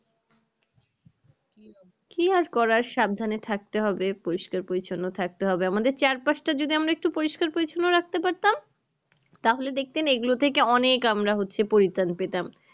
কি আর করার সাবধানে থাকতে হবে পরিস্কার পরিছন্ন থাকতে হবে আমাদের চারপাশটা যদি আমরা একটু পরিষ্কার পরিছন্ন রাখতে পারতাম তাহলে দেখতেন এগুলো থেকে অনেক আমরা হচ্ছে পরিত্রান পেতাম